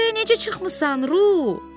Oraya necə çıxmısan, Ru?